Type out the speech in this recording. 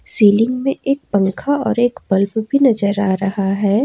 Ceiling में एक पंखा और एक बल्ब भी नजर आ रहा है।